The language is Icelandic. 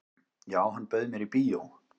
"""Já, hann bauð mér í bíó."""